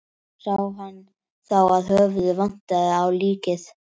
Sá hann þá að höfuðið vantaði á líkið.